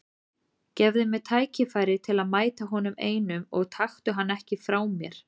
Gefðu mér tækifæri til að mæta honum einum og taktu hann ekki frá mér.